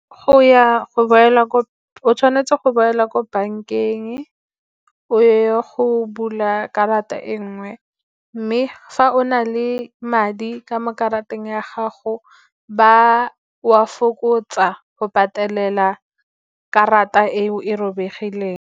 O tshwanetse go boela ko bankeng o ye go bula karata e nngwe. Mme fa o na le madi ka mo karateng ya gago, ba a fokotsa go patelela karata eo e robegileng.